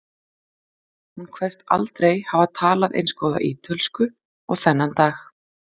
Hún kveðst aldrei hafa talað eins góða ítölsku og þennan dag.